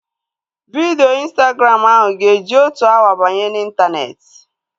Vidio Instagram ahu ga-eji otu awa banye n'intaneeti